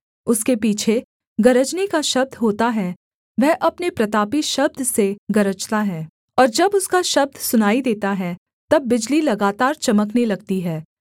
उसके पीछे गरजने का शब्द होता है वह अपने प्रतापी शब्द से गरजता है और जब उसका शब्द सुनाई देता है तब बिजली लगातार चमकने लगती है